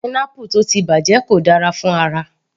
Pineapple tó ti bàjẹ́ kò dára fún ara